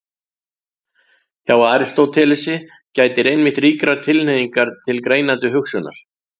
Hjá Aristótelesi gætir einmitt ríkrar tilhneigingar til greinandi hugsunar.